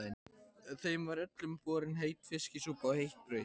Þeim var öllum borin heit fiskisúpa og heitt brauð.